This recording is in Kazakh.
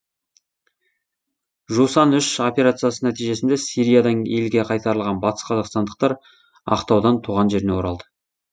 жусан үш операциясы нәтижесінде сириядан елге қайтарылған батыс қазақстандықтар ақтаудан туған жеріне оралды